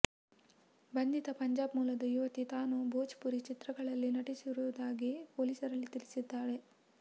ಬಂಧಿತ ಪಂಜಾಬ್ ಮೂಲದ ಯುವತಿ ತಾನು ಭೋಜ್ಪುರಿ ಚಿತ್ರಗಳಲ್ಲಿ ನಟಿಸಿರುವುದಾಗಿ ಪೊಲೀಸರಲ್ಲಿ ತಿಳಿಸಿದ್ದಾಳೆ